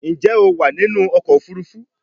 Njé o wá nínú ọkọ̀ òfurufú?